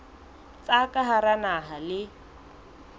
tsa ka hara naha le